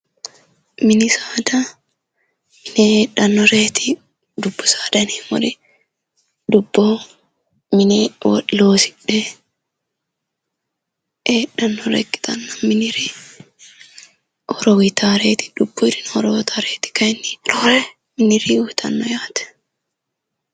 Mini saada mine heedhanoreeti, dubbu saada yineemori dubboho mine loosidhe heedhanore ikkitana miniri horro uyitaworeti dubuyirino horro uyitaworeti kayini roore mini saada uyitano